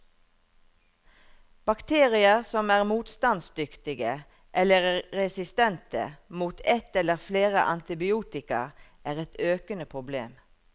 Bakterier som er motstandsdyktige, eller resistente, mot et eller flere antibiotika, er et økende problem.